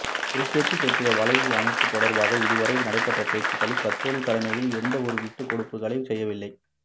திருக்கேதீச்சரத்தின் வளைவு அமைப்பது தொடர்பாக இதுவரை நடைபெற்ற பேச்சுக்களில் கத்தோலிக்க தலைமைகள் எந்த ஒரு விட்டுக்கொடுப்புக்களையும் செய்யவில்லை